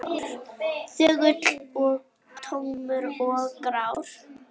Þögull og tómur og grár.